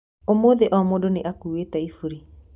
Ũmũthĩ o mũndũ nĩ akuĩte iburi